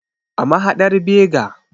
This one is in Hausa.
A mahadar Bega.